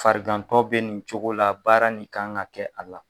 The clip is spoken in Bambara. Farigantɔ bɛ nin cogo la baara nin kan ka kɛ a la.